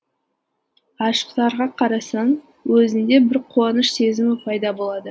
ғашықтарға қарасаң өзіңде бір қуаныш сезімі пайда болады